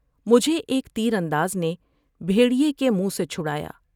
مجھے ایک تیرانداز نے بھیٹریے کے منہ سے مچھٹرا یا ۔